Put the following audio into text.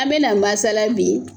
An bɛna mansasala bi